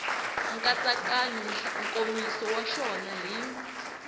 nkatsakanyo nkomiso wa xona hi